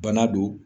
Bana don